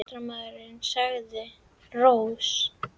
En ég sagði nú ýmislegt undir rós.